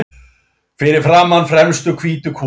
Fyrir framan fremstu hvítu kúluna.